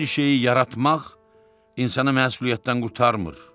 Bir şeyi yaratmaq insanı məsuliyyətdən qurtarmır.